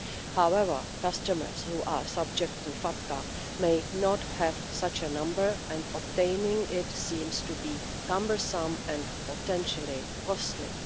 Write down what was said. However, customers who are subject to FATCA may not have such a number, and obtaining it seems to be cumbersome and potentially costly.